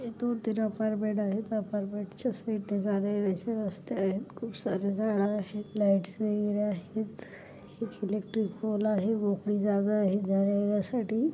येथून अपार्टमेंट आहेत अपार्टमेंट च्या साइडने जाण्यायेण्याचे रस्ते आहेत खूप सारे झाड आहेत लाइटस वैगेरे आहेत एक इलेट्रिक पोल आहे मोकळी जागा आहे जाण्या येण्यासाठी.